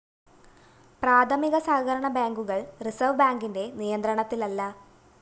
പ്രാഥമിക സഹകരണ ബേങ്കുകള്‍ റിസര്‍വ്വ് ബേങ്കിന്റെ നിയന്ത്രണത്തിലല്ല